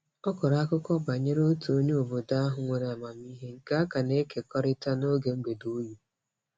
Ọ kọrọ akụkọ banyere otu onye obodo ahụ nwere amamiihe nke a ka na-ekekọrịta n'oge mgbede oyi.